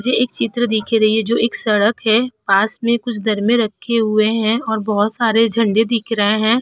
ये एक चित्र दिख रही है जो एक सड़क है। पास में कुछ दरमे रखे हुए हैं और बहोत सारे झंडे दिख रहे हैं।